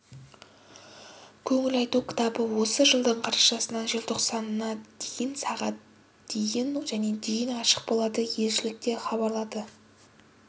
көңіл айту кітабы осы жылдың қарашасынан желтоқсанына дейін сағ дейін және дейін ашық болады елшілікте хабарлады